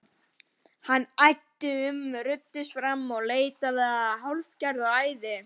Hann æddi um, ruddist áfram, leitaði, fylltist hálfgerðu æði.